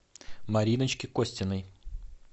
мариночке костиной